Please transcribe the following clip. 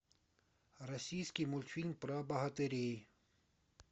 российский мультфильм про богатырей